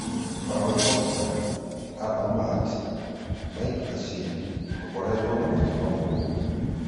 Paul Pogda, Anthor Mart, Mike Rashid - tũkoretwo na mũtino moru.